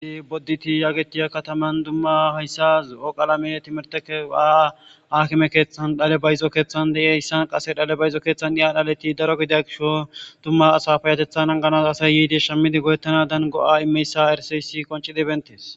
Bodetii yagetiya katamanni dumma hayissa zo'o qalame timirteza akime keththanni dhale bayizo keththanni de'iyasa qase dhale bayizo keththanni daro giddo gishawu asayi yidi shamidi go'etanadan go'a imiya issa qoncidi beettes.